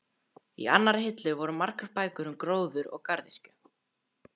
Í annarri hillu voru margar bækur um gróður og garðyrkju.